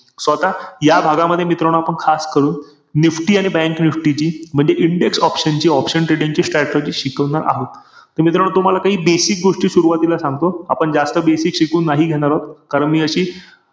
So आता या भागामध्ये, मित्रांनो, आपण खास करून NIFTY आणि bank NIFTY ची, म्हंणजे index option ची, option trading ची strategy शिकवणार आहोत. त मित्रांनो तुम्हाला काही basic गोष्टी सुरवातीला सांगतो. आपण जास्त basic शिकवून नाही घेणार आहोत. कारण मी याची,